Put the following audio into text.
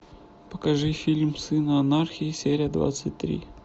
покажи фильм сыны анархии серия двадцать три